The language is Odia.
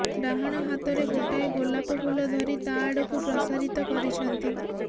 ଡାହାଣ ହାତରେ ଗୋଟାଏ ଗୋଲାପ ଫୁଲ ଧରି ତା ଆଡକୁ ପ୍ରସାରିତ କରିଛନ୍ତି